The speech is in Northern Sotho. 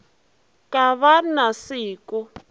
ka ba na se ko